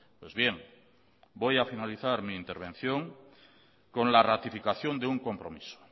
pues bien voy a finalizar mi intervención con la ratificación de un compromiso